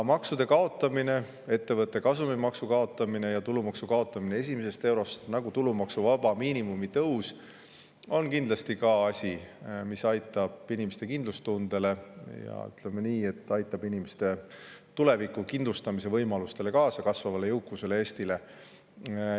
Maksude kaotamine, ettevõtte kasumimaksu kaotamine ja tulumaksu kaotamine esimesest eurost, niisamuti nagu tulumaksuvaba miinimumi tõus on kindlasti asjad, mis, ütleme, aitavad kaasa inimeste tuleviku kindlustamise võimalustele, kasvavale jõukusele, Eestile.